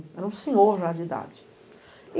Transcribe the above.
Era um senhor já de idade.